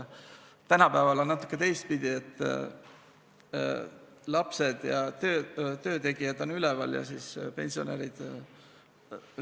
Tänapäeval on natuke teistpidi: lapsed ja töötegijad on üleval ja siis pensionärid ...